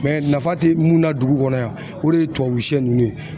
nafa tɛ mun na dugu kɔnɔ yan o de ye tubabusɛ ninnu ye